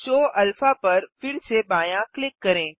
show alpha पर फिर से बायाँ क्लिक करें